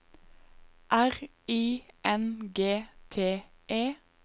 R I N G T E